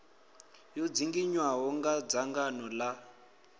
yo dzinginywaho nga dzangano la